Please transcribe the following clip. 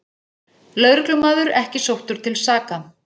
Lögreglumaður ekki sóttur til saka